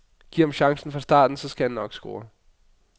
Giv ham chancen fra starten, så skal han nok score.